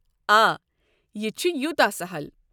آ، یہِ چھُ یوٗتاہ سہَل۔